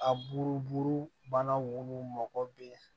A buruburu banaw mɔgɔ bɛ